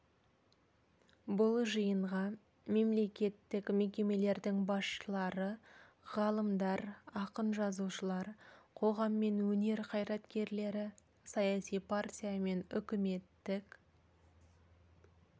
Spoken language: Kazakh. бұл жиынға мемлекеттік мекемелердің басшылары ғалымдар ақын-жазушылар қоғам мен өнер қайраткерлері саяси партиялар мен үкіметтік